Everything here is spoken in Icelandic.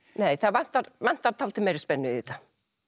nei það vantar vantar dálítið meiri spennu í þetta